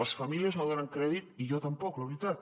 les famílies no donen crèdit i jo tampoc la veritat